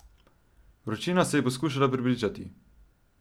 Vročina, se je poskušala prepričati.